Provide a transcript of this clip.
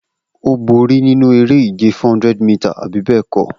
O bori ninu ere-ije 400 mita, abi bẹẹkọ?